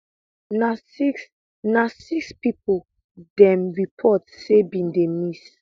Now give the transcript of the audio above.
na six na six pipo dem report say bin dey miss